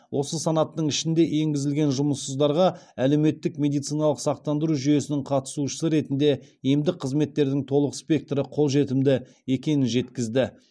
осы санаттың ішіне енгізілген жұмыссыздарға әлеуметтік медициналық сақтандыру жүйесінің қатысушысы ретінде емдік қызметтердің толық спектрі қолжетімді екенін жеткізді